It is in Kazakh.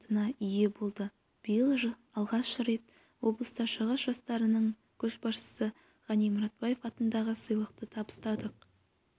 грантына ие болды биыл алғаш рет облыста шығыс жастарының көшбасшысы ғани мұратбаев атындағы сыйлықты табыстадық